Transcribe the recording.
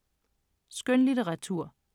Skønlitteratur